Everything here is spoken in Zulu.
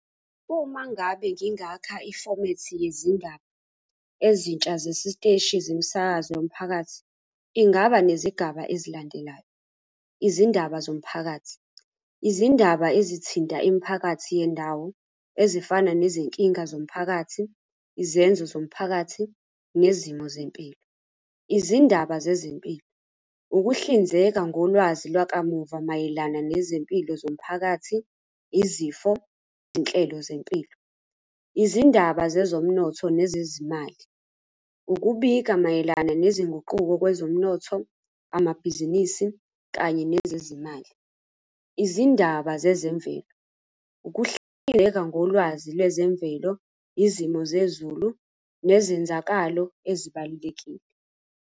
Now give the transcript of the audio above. Uma ngabe ngingakha ifomethi yezindaba ezintsha zesiteshi zemisakazo yomphakathi, ingaba nezigaba ezilandelayo. Izindaba zomphakathi, izindaba ezithinta imiphakathi yendawo ezifana nezinkinga zomphakathi, izenzo zomphakathi, nezimo zempilo. Izindaba zezempilo, ukuhlinzeka ngolwazi lwakamuva mayelana nezempilo zomphakathi, izifo, iy'nhlelo zempilo. Izindaba zezomnotho nezezimali, ukubika mayelana nezinguquko kwezomnotho, amabhizinisi, kanye nezezimali. Izindaba zezemvelo, ukuhleleka ngolwazi lwezemvelo, izimo zezulu, nezenzakalo ezibalulekile.